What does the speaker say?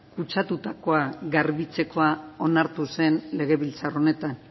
kutsatutakoa garbitzekoa onartu zen legebiltzar honetan